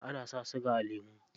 Ana sa siga a lemu.